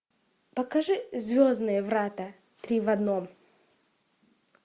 покажи звездные врата три в одном